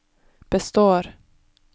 består